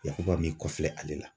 Yakuba min b'i kɔfilɛ ale la.